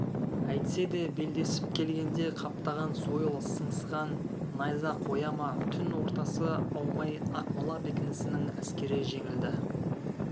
әйтсе де белдесіп келгенде қаптаған сойыл сыңсыған найза қоя ма түн ортасы аумай ақмола бекінісінің әскері жеңілді